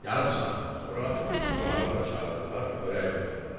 Yarım saatdan sonra qonaqları çağırdılar xörək otağına.